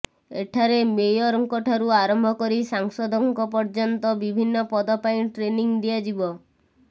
ଏଠାରେ ମେୟରଙ୍କ ଠାରୁ ଆରମ୍ଭ କରି ସାଂସଦଙ୍କ ପର୍ୟ୍ୟନ୍ତ ବିଭିନ୍ନ ପଦ ପାଇଁ ଟ୍ରେନିଂ ଦିଆଯିବ